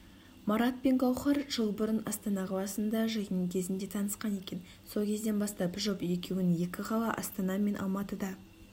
марат пен гаухар жыл бұрын астана қаласында жиын кезінде танысқан екен сол кезден бастап жұп екуінің екі қала астана мен алматыда